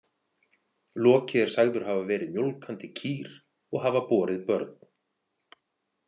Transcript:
Loki er sagður hafa verið mjólkandi kýr og hafa borið börn.